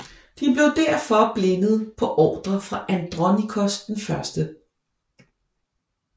De blev derefter blindet på ordre fra Andronikos I